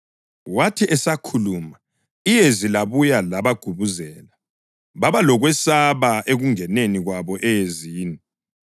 Wathi esakhuluma, iyezi labuya labagubuzela, baba lokwesaba ekungeneni kwabo eyezini.